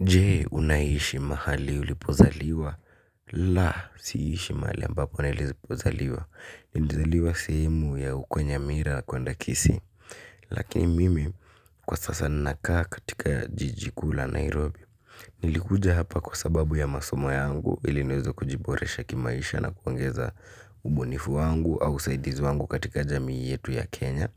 Jee, unaishi mahali ulipozaliwa? La, siishi mahali ambapo niilipozaliwa. Liizaliwa sehemu ya uko nyamira kwenda kisii. Lakin mimi, kwa sasa, ninakaa katika jiji kuu la Nairobi. Nilikuja hapa kwa sababu ya masomo yangu, iliniweze kujiboresha kimaisha na kuongeza, ubunifu wangu au usaidizi wangu katika jamii yetu ya Kenya.